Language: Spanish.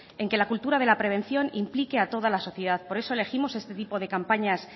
en que la cultura de la prevención implique a toda la sociedad por eso elegimos este tipo de campañas